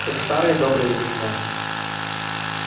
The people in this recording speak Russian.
как в старые добрые времена